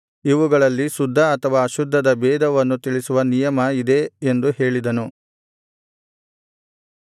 ಇವುಗಳಲ್ಲಿ ಶುದ್ಧ ಅಥವಾ ಅಶುದ್ಧದ ಭೇದವನ್ನು ತಿಳಿಸುವ ನಿಯಮ ಇದೇ ಎಂದು ಹೇಳಿದನು